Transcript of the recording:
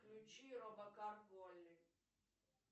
включи робокар поли